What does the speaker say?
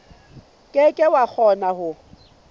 ke ke wa kgona ho